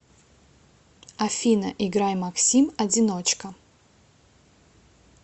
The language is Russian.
афина играй максим одиночка